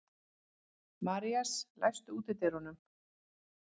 Marías, læstu útidyrunum.